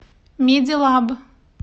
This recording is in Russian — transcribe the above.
медилаб